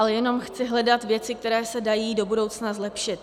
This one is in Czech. Ale jenom chci hledat věci, které se dají do budoucna zlepšit.